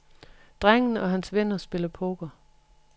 Drengen og hans venner spiller poker.